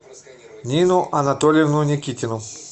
нину анатольевну никитину